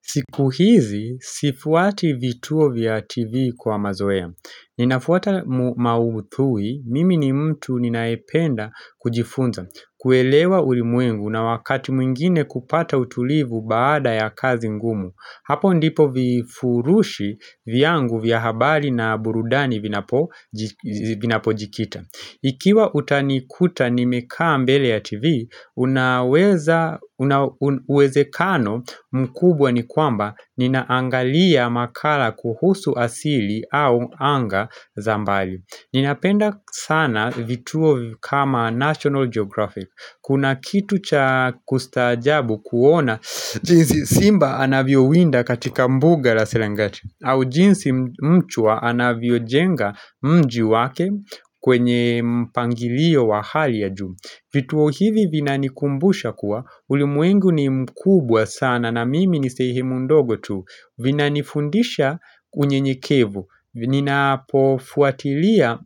Siku hizi, sifuati vituo vya TV kwa mazoea. Ninafuata maudhui, mimi ni mtu ninayependa kujifunza. Kuelewa ulimwengu na wakati mwingine kupata utulivu baada ya kazi ngumu. Hapo ndipo vifurushi vyangu vya habari na burudani vinapojikita. Ikiwa utanikuta nimekaa mbele ya TV, kunauwezekano mkubwa ni kwamba ninaangalia makala kuhusu asili au anga za mbali. Ninapenda sana vituo kama National Geographic. Kuna kitu cha kustaajabu kuona, jinsi simba anavyowinda katika mbuga la selengeti. Au jinsi mchwa anavyojenga mji wake kwenye mpangilio wa hali ya juu vituo hivi vinanikumbusha kuwa ulimwengu ni mkubwa sana na mimi nisehemu ndogo tu Vinanifundisha unyenyekevu Ninapofuatilia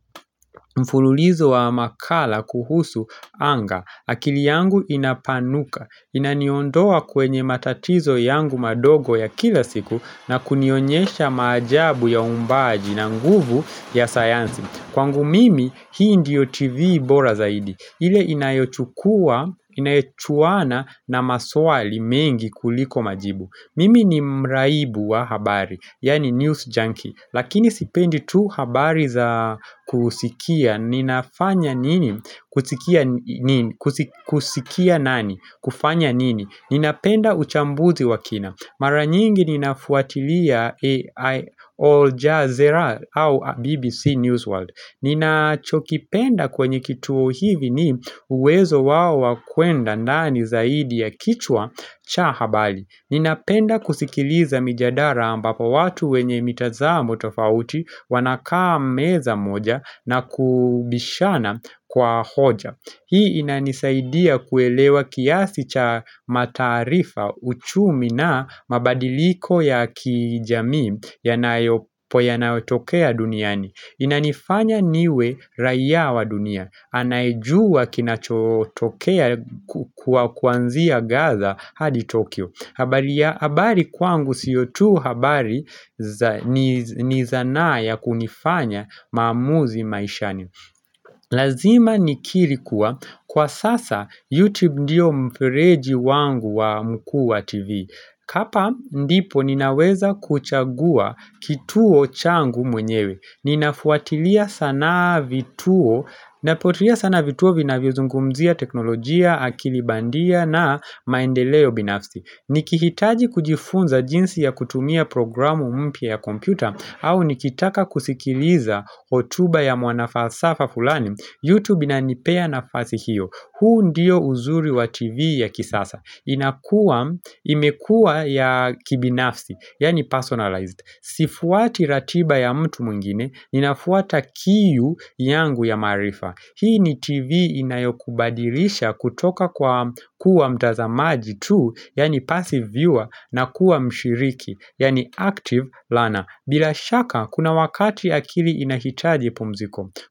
mfululizo wa makala kuhusu anga akili yangu inapanuka Inaniondoa kwenye matatizo yangu madogo ya kila siku na kunionyesha maajabu ya uumbaji na nguvu ya sayansi Kwangu mimi, hii ndiyo TV bora zaidi ile inayochukuwa, inayochuana na maswali mengi kuliko majibu Mimi ni mraibu wa habari, yaani news junkie Lakini sipendi tu habari za kusikia, ninafanya nini, kusikia nini, kusikia nani, kufanya nini Ninapenda uchambuzi wa kina Mara nyingi ninafuatilia All Jazeera au BBC Newsworld ninachokipenda kwenye kituo hivi ni uwezo wao kwenda nani zaidi ya kichwa cha habari Ninapenda kusikiliza mijadala ambapo watu wenye mitazamo tofauti wanakaa meza moja na kubishana kwa hoja Hii inanisaidia kuelewa kiasi cha mataarifa uchumi na mabadiliko ya kijamii yanapotokea duniani Inanifanya niwe raia wa dunia anayejua kinachotokea kuanzia Gaza hadi Tokyo habari kwangu sio tu habari ni sanaa ya kunifanya maamuzi maishani Lazima nikiri kuwa kwa sasa YouTube ndio mfereji wangu mkuu wa TV hapa ndipo ninaweza kuchagua kituo changu mwenyewe Ninafuatilia sana vituo Nafuatilia sana vituo vinavyo vinavyozungumzia teknolojia, akili bandia na maendeleo binafsi Nikihitaji kujifunza jinsi ya kutumia programu mpya ya kompyuta au nikitaka kusikiliza hotuba ya mwanafalsafa fulani Youtube inanipea nafasi hiyo huu ndiyo uzuri wa TV ya kisasa inakua, imekuwa ya kibinafsi, yaani personalized Sifuati ratiba ya mtu mwingine, ninafuata kiu yangu ya maarifa Hii ni TV inayokubadilisha kutoka kwa kuwa mtazamaji tu Yaani passive viewer na kuwa mshiriki, yaani active learner Bilashaka, kuna wakati akili inahitaji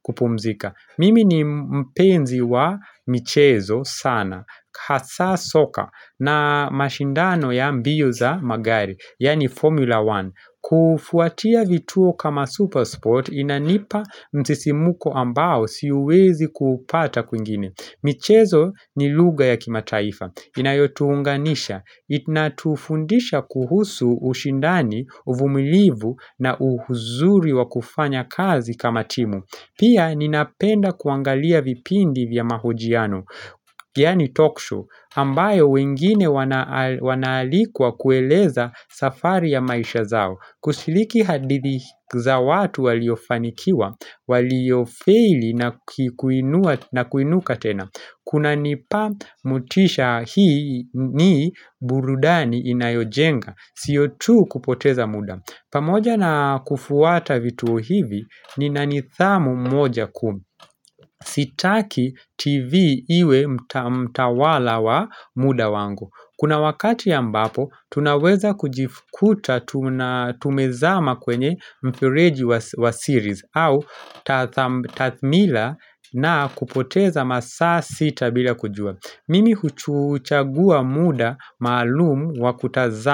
kupumzika. Mimi ni mpenzi wa michezo sana, hasa soka na mashindano ya mbio za magari, yaani Formula One. Kufuatia vituo kama Supersport inanipa msisimuko ambao siuwezi kuupata kwingine. Michezo ni lugha ya kimataifa. Inayotuunganisha. Inatufundisha kuhusu ushindani, uvumilivu na uzuri wa kufanya kazi kama timu. Pia ninapenda kuangalia vipindi vya mahojiano, yaani talk show, ambayo wengine wanaalikwa kueleza safari ya maisha zao. Kushiriki hadithi za watu waliofanikiwa, waliofeili na kuinuka tena Kuna nipa motisha hii nii burudani inayojenga Sio tu kupoteza muda pamoja na kufuata vituo hivi ni nanidhamu moja kuu Sitaki TV iwe mtawala wa muda wangu Kuna wakati ambapo, tunaweza kujikuta tumezama kwenye mfereji wa series au tathmila na kupoteza masaa sita bila kujua Mimi huchagua muda maalumu wa kutazama.